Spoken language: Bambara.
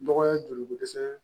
Dɔgɔ ye joli ko dɛsɛ